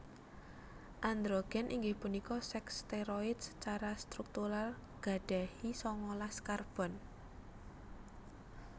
Androgèn inggih punika sèks stèroid secara struktural gadahi sangalas karbon